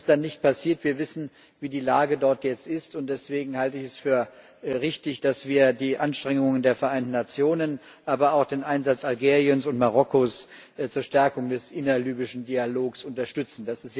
Das ist dann nicht passiert. Wir wissen, wie die Lage dort jetzt ist, und deswegen halte ich es für richtig, dass wir die Anstrengungen der Vereinten Nationen, aber auch den Einsatz Algeriens und Marokkos zur Stärkung des innerlibyschen Dialogs unterstützen.